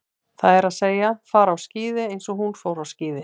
Það er að segja, fara á skíði eins og hún fór á skíði.